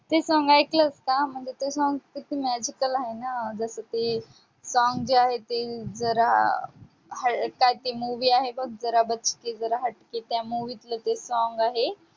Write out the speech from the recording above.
ते song ऐकलंस का? म्हणजे ते song किती magical आहे ना जसं की song जे आहे ते जरा काय ते movie आहे बघ जरा बचके जरा हटके त्या movie तलं ते song आहे.